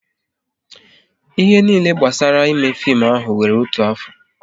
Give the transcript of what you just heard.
Ihe niile gbasara ime fim ahụ wéré otu afọ